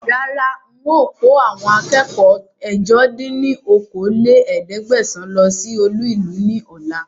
Rárá ń ó kò àwọn akẹ́kọ̀ọ́ ẹ̀jọ dín ní okòó-lé-ní-ẹ̀ẹ́dẹ́gbẹ́sán lọ síí olú ìlú ni ọ̀la